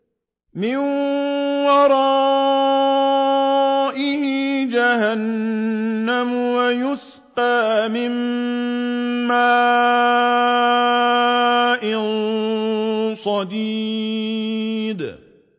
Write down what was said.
مِّن وَرَائِهِ جَهَنَّمُ وَيُسْقَىٰ مِن مَّاءٍ صَدِيدٍ